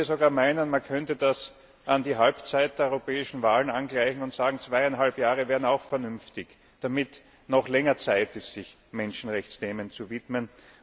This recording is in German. sogar, man könnte das an die Halbzeit der europäischen Wahlen angleichen und sagen, zweieinhalb Jahre wären auch vernünftig, damit noch länger Zeit ist, sich Menschenrechtsthemen zu widmen.